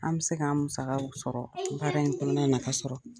An bi se k'an musakaw sɔrɔ , baara in fana nafa sɔrɔ.